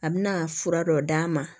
A bɛna fura dɔ d'a ma